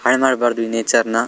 ಹಾಳ ಮಾಡ್ಬಾರ್ದು ಈ ನೇಚರ್ ನ.